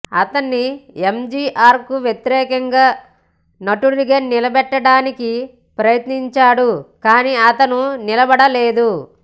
అతన్ని ఎంజీఆర్కు వ్యతిరేకంగా నటుడిగా నిలబెట్టడానికి ప్రయత్నించాడు కానీ అతను నిలబడలేదు